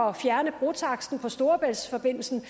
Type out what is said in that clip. at fjerne brotaksten fra storebæltsforbindelsen